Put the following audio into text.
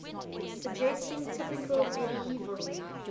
suggesting typical medieval